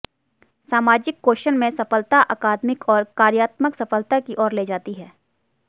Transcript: सामाजिक कौशल में सफलता अकादमिक और कार्यात्मक सफलता की ओर ले जाती है